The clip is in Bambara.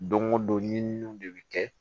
Don go don ɲininiw de bi kɛ